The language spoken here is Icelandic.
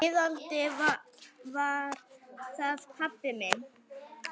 Iðandi, það var pabbi minn.